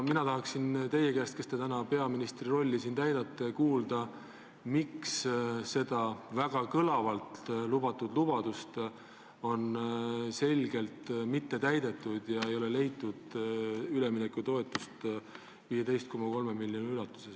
Mina tahaksin teie käest, kes te täna täidate siin peaministri rolli, kuulda, miks seda väga kõlavalt antud lubadust ilmselgelt ei ole täidetud, ei ole leitud üleminekutoetust 15,3 miljoni ulatuses.